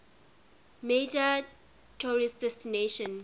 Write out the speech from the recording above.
major tourist destination